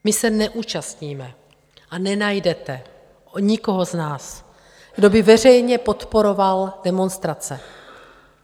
My se neúčastníme a nenajdete nikoho z nás, kdo by veřejně podporoval demonstrace.